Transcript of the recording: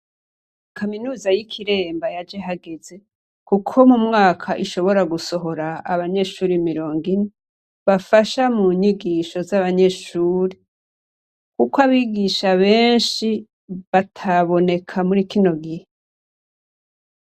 Kaminuza y’ikiremba yaje hageze ,kuko mu mwaka ishobora gusohora abanyeshure mirongine ,bafasha munyigisho z’abanyeshure ,kukw’abigisha benshi ,bataboneka muri kino gihe.